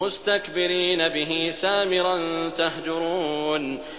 مُسْتَكْبِرِينَ بِهِ سَامِرًا تَهْجُرُونَ